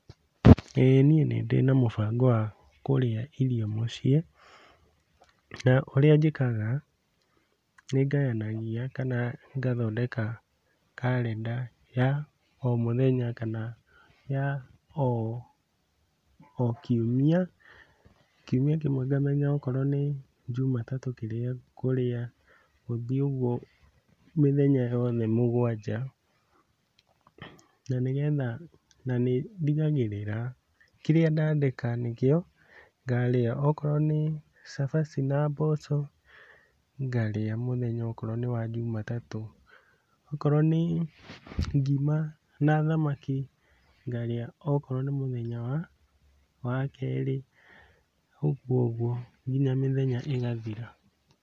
Ĩĩ niĩ nĩndĩ na mũbango wa kũrĩa irio mũciĩ, na ũrĩa njĩkaga nĩ ngayanagia kana ngathondeka karendaya o mũthenya kana ya o kiumia, kiumia kĩmwe angamenya akorwo nĩ jumatatũ kĩrĩa ngũrĩa, gũthiĩ ũgwo mĩthenya yothe mũgwanja, na nĩgetha nĩ ndigagĩrĩra kĩrĩa ndadĩka nĩkĩo ngarĩa, okorwo nĩ cabaci na mboco, ngarĩa mũthenya okorwo nĩ wa jumatatũ, okorwo nĩ ngima na thamaki ngarĩa okorwo nĩ mũthenya wa kerĩ, ũgwo ũgwo nginya mĩthenya ĩgathira.